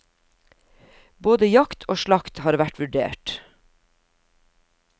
Både jakt og slakt har vært vurdert.